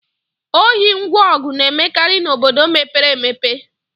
Ohi ngwa ọgụ na-emekarị n'obodo mepere emepe